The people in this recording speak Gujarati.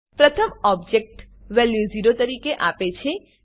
પ્રથમ ઓબજેક્ટ વેલ્યુ 0 તરીકે આપે છે